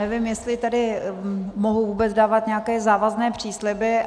Nevím, jestli tedy mohu vůbec dávat nějaké závazné přísliby.